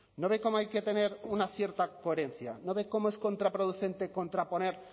no ve cómo hay que tener una cierta coherencia no ve cómo es contraproducente contraponer